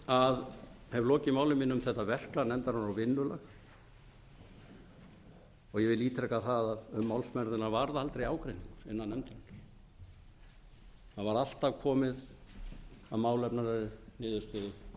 að hef lokið máli mínu um þetta verklag nefndarinnar og vinnulag og ég vil ítreka að um málsmeðferðina varð aldrei ágreiningur innan nefndarinnar það var alltaf komist að málefnalegri niðurstöðu í sáttinni þannig